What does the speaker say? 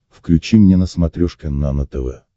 включи мне на смотрешке нано тв